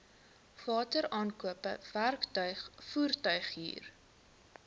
wateraankope werktuig voertuighuur